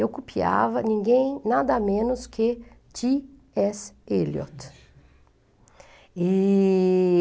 Eu copiava ninguém, nada menos que T. S. Eliot. E...